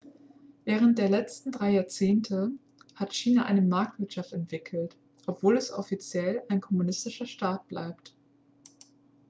während der letzten drei jahrzehnte hat china eine marktwirtschaft entwickelt obwohl es offiziell ein kommunistischer staat blieb